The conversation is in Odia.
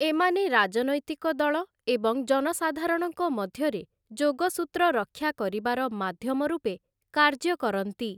ଏମାନେ ରାଜନୈତିକ ଦଳ ଏବଂ ଜନସଧାରଣଙ୍କ ମଧ୍ୟରେ ଯୋଗସୂତ୍ର ରକ୍ଷା କରିବାର ମାଧ୍ୟମ ରୂପେ କାର୍ଯ୍ୟ କରନ୍ତି ।